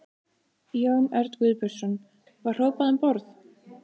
Jón Örn Guðbjartsson: Var hrópað um borð?